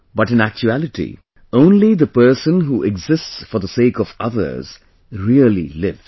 But in actuality only the person who exists for the sake of others really lives